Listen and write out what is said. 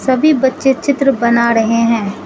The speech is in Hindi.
सभी बच्चे चित्र बना रहे हैं।